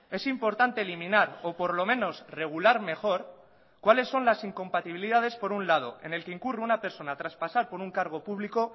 es importante eliminar o por lo menos regular mejor cuáles son las incompatibilidades por un lado en el que incurre una persona tras pasar por un cargo público